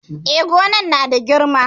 E, gonar na da girma.